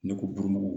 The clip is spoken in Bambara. Ne ko buranmuso